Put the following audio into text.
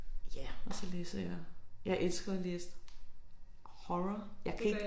Ja og så læser jeg jeg elsker jo at læse horror jeg kan ikke